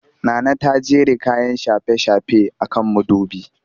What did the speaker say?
Nana ta jera kayan shafe-shafe a kan mudubi